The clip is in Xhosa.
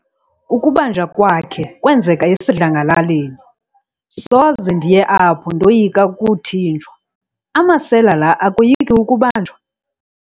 Ukubanjwa kwakhe kwenzeke esidlangalaleni. soze ndiye apho ndoyika ukuthinjwa, amasela la akoyiki ukubanjwa?